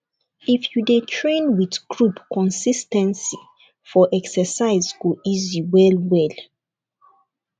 if you dey train with group consis ten cy for exercise go easy well well